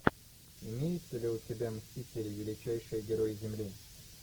имеется ли у тебя мстители величайшие герои земли